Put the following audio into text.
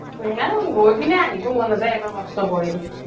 আৰু গৈ কিনে আহিব মন নাজাই ইমান কস্ত কৰি